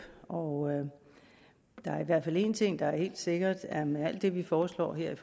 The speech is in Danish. og der er i hvert fald en ting der er helt sikkert er at med alt det vi foreslår her i